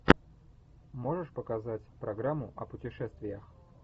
можешь показать программу о путешествиях